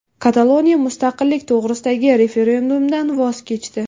Kataloniya mustaqillik to‘g‘risidagi referendumdan voz kechdi.